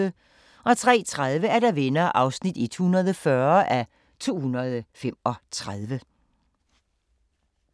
03:30: Venner (140:235)